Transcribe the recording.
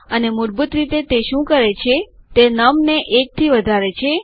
અને મૂળભૂત રીતે તે શું કરે છે તે નમ ને ૧ થી વધારે છે